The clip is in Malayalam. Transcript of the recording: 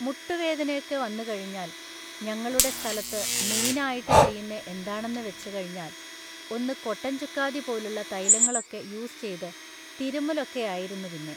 മുട്ടുവേദനയൊക്കെ വന്നുകഴിഞ്ഞാൽ ഞങ്ങളുടെ സ്ഥലത്ത് മെയിനായിട്ട് ചെയ്യുന്നെ എന്താണെന്ന് വെച്ച് കഴിഞ്ഞാൽ ഒന്ന് കൊട്ടൻ ചുക്കാദി പോലുള്ള തൈലങ്ങളൊക്കെ യൂസ് ചെയ്‌ത്‌ തിരുമ്മലൊക്കെയായിരുന്ന് പിന്നേ